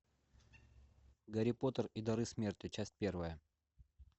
гарри поттер и дары смерти часть первая